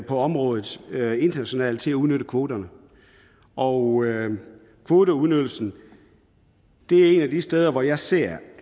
på området internationalt til at udnytte kvoterne og kvoteudnyttelsen er et af de steder hvor jeg ser